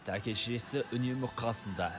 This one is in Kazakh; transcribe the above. әке шешесі үнемі қасында